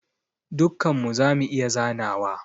Dukkan mu zamu iya zanawa.